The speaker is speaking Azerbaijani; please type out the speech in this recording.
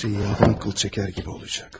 Hə silən qıl çəkər kimi olacaq.